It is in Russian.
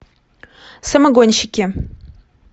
самогонщики